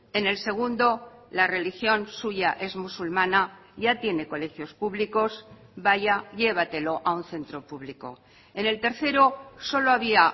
en el segundo la religión suya es musulmana ya tiene colegios públicos vaya llévatelo a un centro público en el tercero solo había